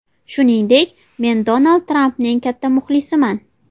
Shuningdek, men Donald Trampning katta muxlisiman.